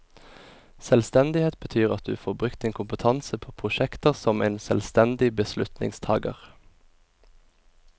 Selvstendighet betyr at du får brukt din kompetanse på prosjekter som en selvstendig beslutningstager.